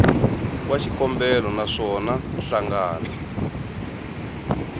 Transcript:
wa xikombelo na swona nhlangano